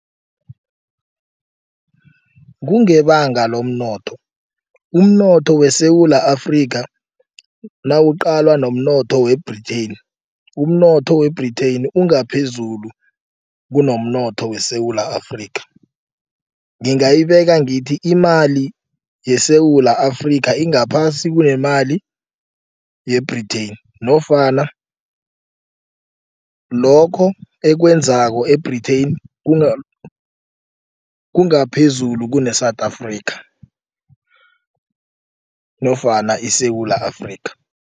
Kungebanga lomnotho, umnotho weSewula Afrika nawuqalwa nomnotho we-Britain umnotho we-Britain ungaphezulu kunomnotho weSewula Afrika. Ngingayibeka ngithi imali yeSewula Afrika ingaphasi kunemali ye-Britain nofana lokho ekwenzeko e-Britain kungaphezulu kune-South Africa nofana iSewula Afrika.